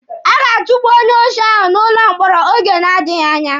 A ga-atukpu onye oshi ahụ n'ụlọ mkpọrọ oge na-adịghi anya.